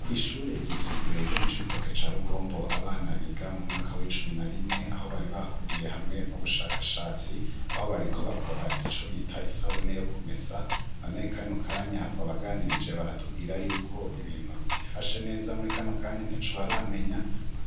Kw'ishure gisumbuyeryo mu co bitoke ca rugombo abana biga mu mwaka w'icumi na rimwe aho baribahuriye hamwe mu bushakashatsi aho bariko bakora ico bita isabune yo kumesa na nekanya kanya twabaganirije baratubwira yuko ibintu bitifashe neza muri ikano kanya nte co baramenya,